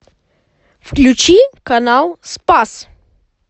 включи канал спас